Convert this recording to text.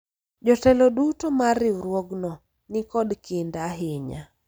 jotelo duto mar riwruogno nikod kinda ahinya